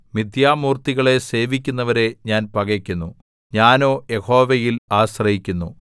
മിഥ്യാമൂർത്തികളെ സേവിക്കുന്നവരെ ഞാൻ പകക്കുന്നു ഞാനോ യഹോവയിൽ ആശ്രയിക്കുന്നു